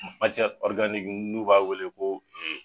n'u b'a wele ko